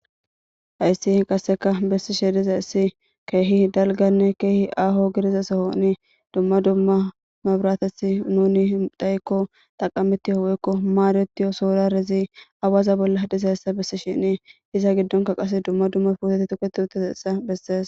hayssi qasseka bessishe diza issi keehi dalganne keehi aho gidiza sohoni dumma dumma mabratethi nuni dhayikko taqamitiyo woykko maadetiyo sourarezi awaza bolla dhizayssa bessi shinii iza giddonka qase dumma dumma puoteti tuketi utteza issa bessees